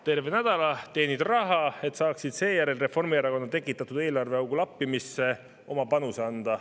Terve nädala teenid raha, et saaksid Reformierakonna tekitatud eelarveaugu lappimisse oma panuse anda.